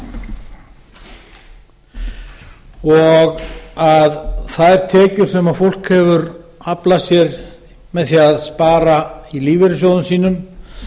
lífeyrissjóði og að þær tekjur sem fólk hefur aflað sér með því að spara í lífeyrissjóðum sínum